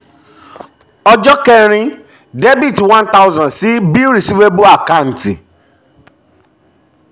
ọjọ́ kẹ́rin: debit one thousand sí bill receivable àkáǹtì